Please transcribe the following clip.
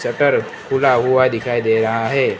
Shutter खुला हुआ दिखाई दे रहा है।